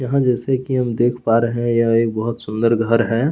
यहाँ जैसे की हम देख पा रहै है यह एक बहुत सुंदर घर है।